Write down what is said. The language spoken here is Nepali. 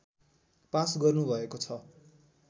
पास गर्नुभएको छ